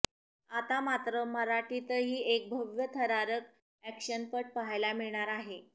आता मात्र मराठीतही एक भव्य थरारक एक्शनपट पहायला मिळणार आहे